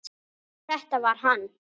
Þetta var hann!